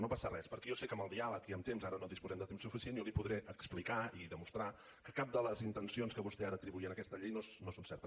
no passa res perquè jo sé que amb el diàleg i amb temps ara no disposem de temps suficient li podré explicar i demostrar que cap de les intencions que vostè ara atribuïa a aquesta llei no són certes